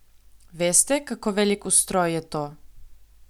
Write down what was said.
Veste, kako velik ustroj je to?